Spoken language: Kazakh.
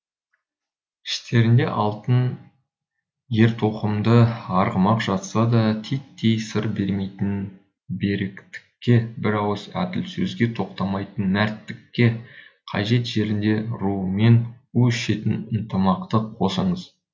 іштерінде алтын ертоқымды арғымақ жатса да титтей сыр бермейтін беріктікке бір ауыз әділ сөзге тоқтайтын мәрттікті қажет жерінде руымен у ішетін ынтымақты қосыңыз